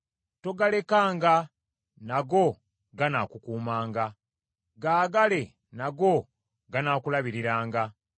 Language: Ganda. Togalekanga, nago ganaakukuumanga, gaagale nago ganaakulabiriranga.